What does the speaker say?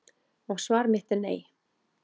Og svar mitt er nei.